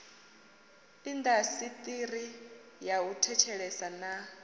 indasiṱiri ya u thetshelesa na